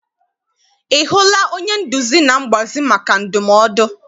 I hụla onye nduzi na mgbazi maka ndumodu?